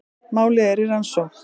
Málið er í rannsókn